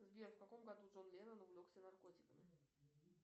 сбер в каком году джон леннон увлекся наркотиками